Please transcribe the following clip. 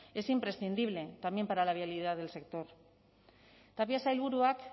es imprescindible también para la viabilidad del sector tapia sailburuak